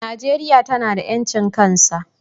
Najeria tana da yancin kan sa.